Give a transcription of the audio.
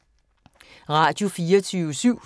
Radio24syv